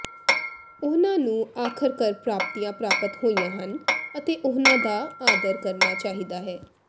ਉਨ੍ਹਾਂ ਨੂੰ ਆਖਰਕਾਰ ਪ੍ਰਾਪਤੀਆਂ ਪ੍ਰਾਪਤ ਹੋਈਆਂ ਹਨ ਅਤੇ ਉਨ੍ਹਾਂ ਦਾ ਆਦਰ ਕਰਨਾ ਚਾਹੀਦਾ ਹੈ